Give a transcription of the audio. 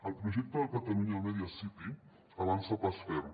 el projecte de catalunya media city avança amb pas ferm